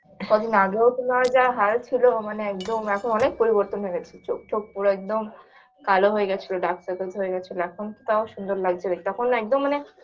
কদিন আগেও তোমার যা হাল ছিল মানে একদম এখন অনেক পরিবর্তন হয়ে গেছে চোঁখ টোক পুরো একদম কালো হয়ে গেছিলো dark circles হয়ে গেছিলো এখন তো তাও সুন্দর লাগছে দেখতে তখন একদম মানে